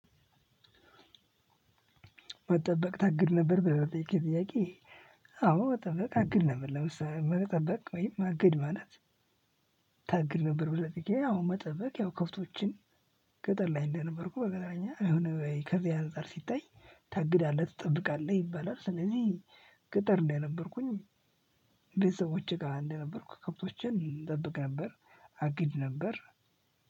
መጠበቅ ታግድ ነበር? ብለህ ለጠየከኝ ጥያቄ፣ አዎ መጠበቅ አግድ ነበር። ለምሳሌ መጠበቅ ወይም ማግድ ማለት፣ ታግድ ነበር? ብለህ ለጠየከኝ አው መጠበቅ ያው ከብቶችን ቅጥር ላይ እንደነበርኩ በቅጥረኛ ከዚህ አንፃር ሲታይ፣ ታግዳለህ ትጠብቃለህ ይባላል። ስለዚህ ቅጥር እንደነበርኩኝ ቤተሰቦቼ ጋር እንደነበርኩ ከብቶቼን እጠብቅ ነበር አግድ ነበር፣